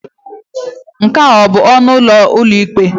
Nke a ọ bụ ọnụ ụlọ ụlọikpe?